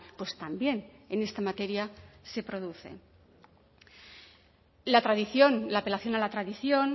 pues también en esta materia se produce la tradición la apelación a la tradición